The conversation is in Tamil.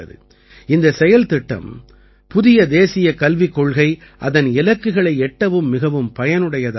இந்தச் செயல்திட்டம் புதிய தேசியக் கல்விக் கொள்கை அதன் இலக்குகளை எட்டவும் மிகவும் பயனுடையதாக இருக்கும்